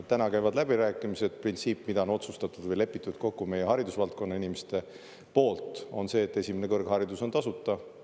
Täna käivad läbirääkimised, printsiip, mida on lepitud kokku meie haridusvaldkonna inimeste poolt, on see, et esimene kõrgharidus on tasuta.